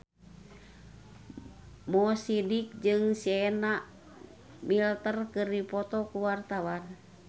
Mo Sidik jeung Sienna Miller keur dipoto ku wartawan